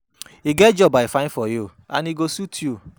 E get job I find for you and e go suit you.